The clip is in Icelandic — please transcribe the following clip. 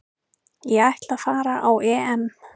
Ég ætla að fara á EM